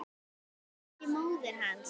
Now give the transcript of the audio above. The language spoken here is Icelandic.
Nema kannski móðir hans.